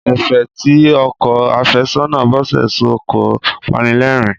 Ẹ̀fẹ̀ tí ọkọ àfẹ́sọ́nà Bọ́sẹ̀ sọ kọ panilẹ́rìn-ín.